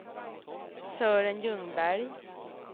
Sören Ljungberg